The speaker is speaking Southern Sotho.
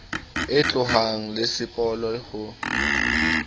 e tlohang le sepolo ho